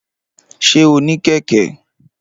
Ṣé o ní kẹ̀kẹ́?